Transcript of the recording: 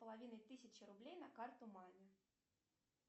половина тысячи рублей на карту маме